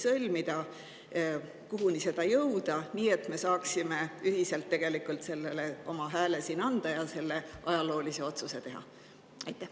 Kuhu sellega jõuda, et me saaksime ühiselt sellele oma hääle anda ja siin selle ajaloolise otsuse teha?